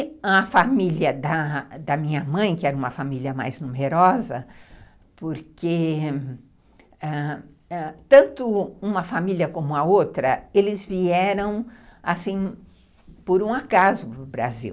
E a família da da minha mãe, que era uma família mais numerosa, porque ãh tanto uma família como a outra, eles vieram por um acaso para o Brasil.